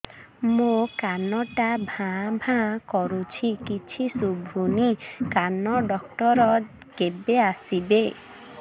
ମୋ କାନ ଟା ଭାଁ ଭାଁ କରୁଛି କିଛି ଶୁଭୁନି କାନ ଡକ୍ଟର କେବେ ଆସିବେ